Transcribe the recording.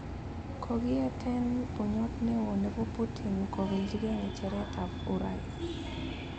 Kogiyeeten bunyoot newoo nebo Putin kopelijigei ngecheretab urais.